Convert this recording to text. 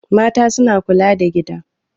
Mata suna kula da gida.